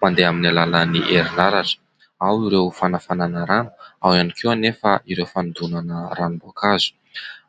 mandeha amin'ny alalan'ny erinaratra. Ao ireo fanafanana rano, ao ihany koa anefa ireo fanodonana ranom-boankazo.